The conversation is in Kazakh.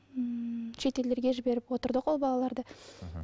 ммм шетелдерге жіберіп отырдық ол балаларды мхм